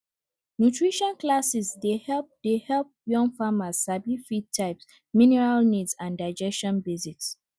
nutrition classes dey help dey help young farmers sabi feed types mineral need and digestion basics